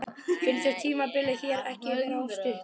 Finnst þér tímabilið hér ekki vera of stutt?